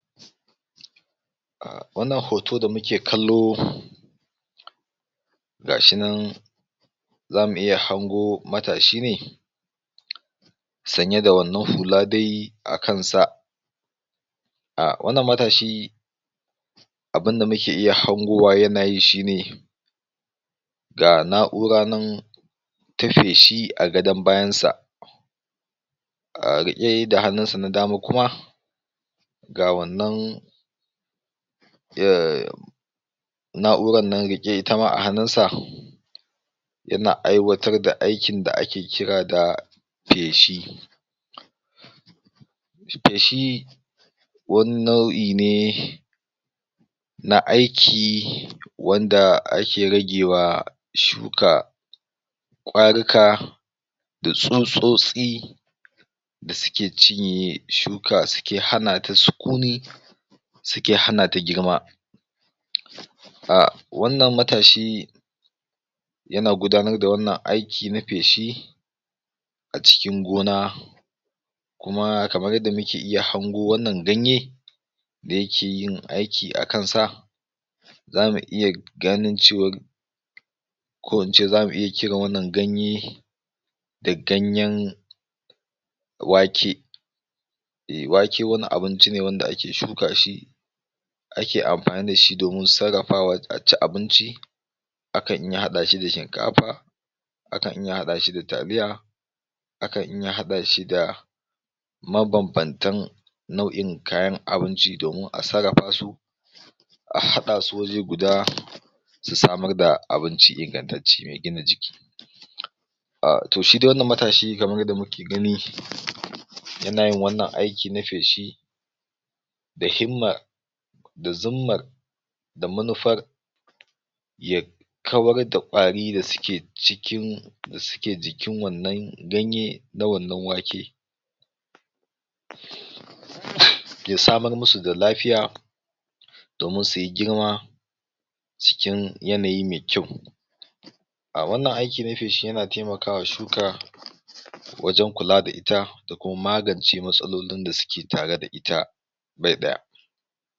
Wannan hoto da muke kallo, ga shi nan za mu iya hango matashi ne sanye da wannan hula dai a kansa, ah wannan matashi abunda muke iya hangowa yanayi shine, ga na'ura nan ta feshi a gadon bayansa, ah riƙe da hannunsa na dama kuma ga wannan na'urannan riƙe itama a hannunsa, yana iwatar daaikin da ake kira da feshi. Feshi, wani nau'ine na aiki wanda ake ragewa shuka ƙwarika, da tsutsotsi, da suke cinye shuka suke hanata sukuni, suke hanata girma. Ah wannan matashi, yana gudanar da wannan aiki na feshi a cuikin gona, kuma kamar yadda muke iya hango wannan ganye, da yake yin aiki a kansa, za mu iya ganin cewa, ko ince zamu iya kiran wannan ganye, da ganyen wake. Ehh wake wani abinci n wanda ake shuka shi, ake amfani da shi domin sarrafaa a ci abinci, akan iya haɗashi da shinkafa, akan iya haɗa shi da taliya, akan iya haɗa shi da mabanbantan nau'in kayan abuinci domin a sarrafa su a haɗa su waje guda, su samar da abinci ingantacce mai gina jiki. Ah to shi dai wannan matashi kamar yadda muke gani, yana yin wannan aiki na feshi, da himma da zummar da maunfar, ya kawar da ƙwari da suke cikin da suke jikin wannan ganye na wannan wake ya samar musu da lafiya, domin su yi girma, cikin yanayi mai kyau Ahh wannan aiki na feshi yana taiamakwa shuka wajen kula da ita, ko magance matsalolin da suke tare da ita bai ɗaya.